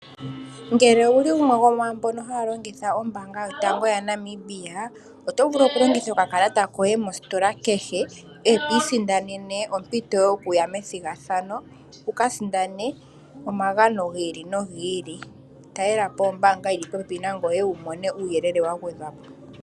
Ngele owu li gumwe gomwaambo haya longitha ombaanga yotango yaNamibia, oto vulu okulongitha okakalata koye mostola kehe, e to isindanene ompito yokuya methigathano wu ka sindane omagano gi ili nogi ili. Talela po nombaanga yi li popepi nangoye wu mone uuyelele wa gwedhwa po.